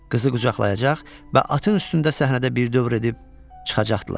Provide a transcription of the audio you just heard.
Qızı qucaqlayacaq və atın üstündə səhnədə bir dövr edib çıxacaqdılar.